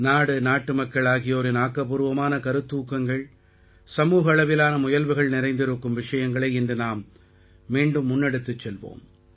நாடுநாட்டுமக்கள் ஆகியோரின் ஆக்கப்பூர்வமான கருத்தூக்கங்கள்சமூக அளவிலான முயல்வுகள் நிறைந்திருக்கும் விஷயங்களை இன்று நாம் மீண்டும் முன்னெடுத்துச் செல்வோம்